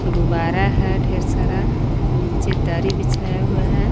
गुब्बारा है ढेर सारा नीचे दरी बिछाया हुआ है।